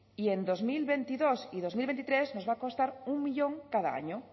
y en dos mil veintidós y dos mil veintitrés nos va a costar un millón cada año